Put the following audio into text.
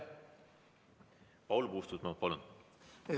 Paul Puustusmaa, palun!